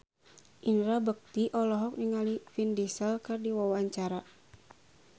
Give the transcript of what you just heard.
Indra Bekti olohok ningali Vin Diesel keur diwawancara